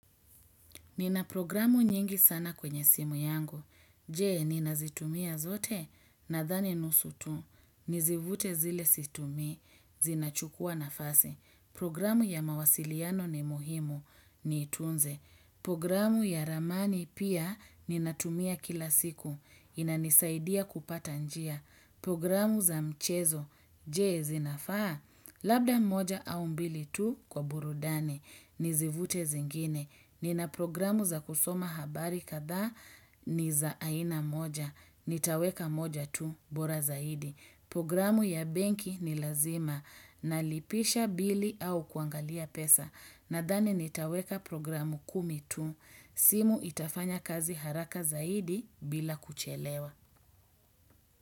Nina programu nyingi sana kwenye simu yangu. Je, ninazitumia zote nadhani nusu tu. Nizifute zile situmii, zinachukua nafasi. Programu ya mawasiliano ni muhimu, niitunze. Nizifute zile situmii, zinachukua nafasi. Inanisaidia kupata njia. Programu za mchezo, je zinafaa. Labda moja au mbili tu kwa burudani, nizivute zingine. Nina programu za kusoma habari kadhaa ni za aina moja. Nitaweka moja tu, bora zaidi. Programu ya benki ni lazima. Nalipisha bili au kuangalia pesa. Nadhani nitaweka programu kumi tu. Simu itafanya kazi haraka zaidi bila kuchelewa.